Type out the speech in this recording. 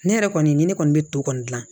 Ne yɛrɛ kɔni ni ne kɔni bɛ to kɔni gilan